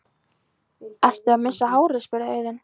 Ertu að missa hárið? spurði Auðunn.